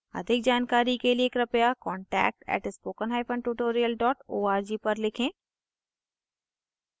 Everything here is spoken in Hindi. अधिक जानकारी के लिए कृपया: contact @spokentutorial org पर लिखें